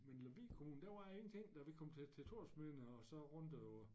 Men Lemvig kommune der var ingenting da vi kom til til Thorsminde og så rundt og